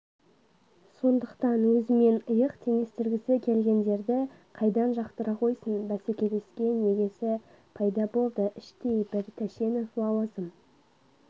сондықтан өзімен иық теңестіргісі келгендерді қайдан жақтыра қойсын бәсекелескен егесі пайда болды іштей бір тәшенов лауазым